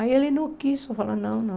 Aí ele não quis, foi falar, não, não.